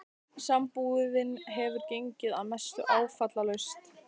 Sambúðin hefur gengið að mestu áfallalaust.